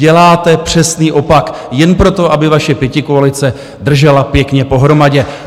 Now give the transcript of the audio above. Děláte přesný opak jen proto, aby vaše pětikoalice držela pěkně pohromadě.